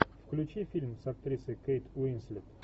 включи фильм с актрисой кейт уинслет